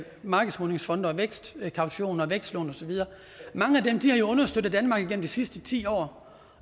markedsmodningsfonde og vækstkaution og vækstlån og så videre har jo understøttet danmark gennem de sidste ti år